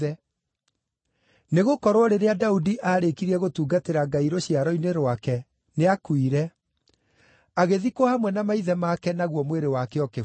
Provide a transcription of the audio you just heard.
“Nĩgũkorwo rĩrĩa Daudi aarĩkirie gũtungatĩra Ngai rũciaro-inĩ rwake, nĩakuire; agĩthikwo hamwe na maithe make naguo mwĩrĩ wake ũkĩbutha.